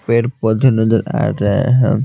पेड़ पौधे नजर आ रहे हैं।